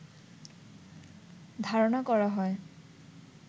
ধারনা করা হয়